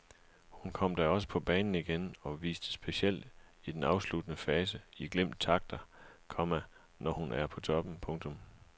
Hun kom da også på banen igen og viste specielt i den afsluttende fase i glimt takter, komma som når hun er på toppen. punktum